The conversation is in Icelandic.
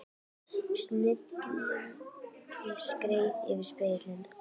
Snigillinn skreið yfir spegilinn.